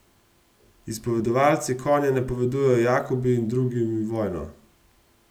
Izpovedovalci Konja napovejo Jakobu in drugim vojno.